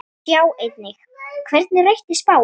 Sjá einnig: Hvernig rættist spáin?